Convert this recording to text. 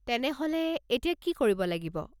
তেনেহ'লে, এতিয়া কি কৰিব লাগিব?